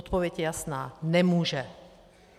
Odpověď je jasná - nemůže.